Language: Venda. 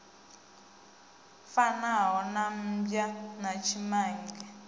fanaho na mmbwa na tshimange